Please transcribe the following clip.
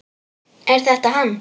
Er þetta hann?